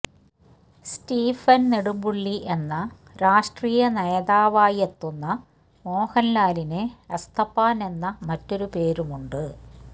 Stephen Nedumpully എന്ന രാഷ്ട്രീയ നേതാവായിയെത്തുന്ന മോഹൻലാലിന് എസ്തപ്പാന് എന്ന മറ്റൊരു പേരുമുണ്ട്